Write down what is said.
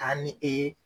Taa ni e ye